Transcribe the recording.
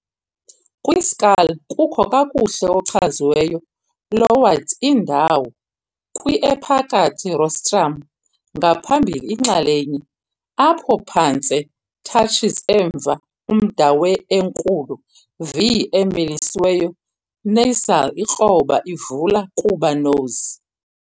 Kwi-skull, kukho kakuhle-ochaziweyo lowered indawo kwi-ephakathi rostrum, ngaphambili inxalenye, apho phantse touches emva umda we-enkulu, V-emilisiweyo nasal ikroba, ivula kuba nose.